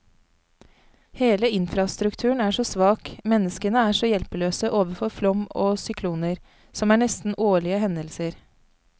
Hele infrastrukturen er så svak, menneskene er så hjelpeløse overfor flom og sykloner, som er nesten årlige hendelser.